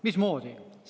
Mismoodi?